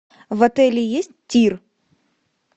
в отеле есть тир